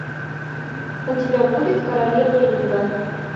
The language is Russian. у тебя будет королевы ринга